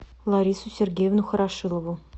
ларису сергеевну хорошилову